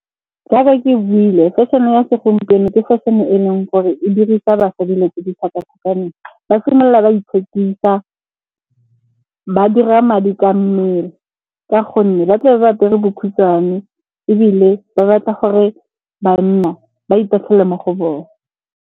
Jaaka ke buile fashion-e ya segompieno ke fashion-e e e leng gore e dirisa basadi dilo tse di tlhakatlhakaneng. Ba simolola ba ithekisa ba dira madi ka mmele ka gonne ba tle be ba apere bokhutshwane, ebile ba batla gore banna ba itatlhele mo go bone.